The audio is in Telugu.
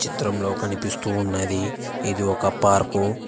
చిత్రంలో కనిపిస్తూ ఉన్నది ఇది ఒక పార్కు .